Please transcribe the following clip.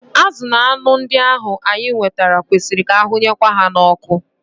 Azụ na anụ ndị ahu anyị nwetara kwesịrị ka ahụnyekwa ha n'oku